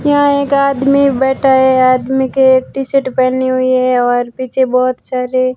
यहां एक आदमी बैठा है आदमी के टी शर्ट पहनी हुई है और पीछे बहोत सारे--